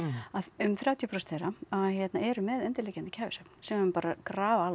um þrjátíu prósent þeirra hérna eru með undirliggjandi kæfisvefn sem er bara grafalvarlegt